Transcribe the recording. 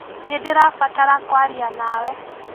Nĩndĩrabatara kwaria nawe.